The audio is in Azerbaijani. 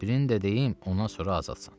Birini də deyim ondan sonra azadsan.